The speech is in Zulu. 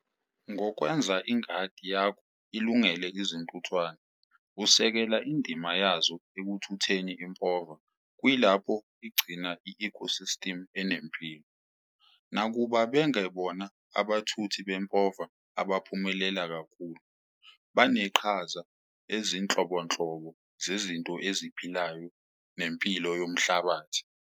Ngokwenza ingadi yakho ilungele izintuthwane, usekela indima yazo ekuthutheni impova kuyilapho igcina i-ecosystem enempilo. Nakuba bengebona abathuthi bempova abaphumelela kakhulu, baneqhaza ezinhlobonhlobo zezinto eziphilayo nempilo yomhlabathi.